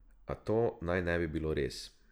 A to naj ne bi bilo res.